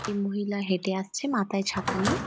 এই মহিলা হেটে আসছে মাথায় ছাতা নিয়ে।